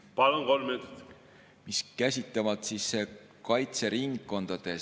Palun, kolm minutit!